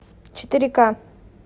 четыре ка